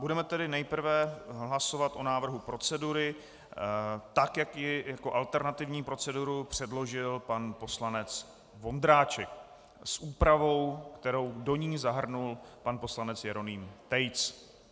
Budeme tedy nejprve hlasovat o návrhu procedury, tak jak ji jako alternativní proceduru předložil pan poslanec Vondráček, s úpravou, kterou do ní zahrnul pan poslanec Jeroným Tejc.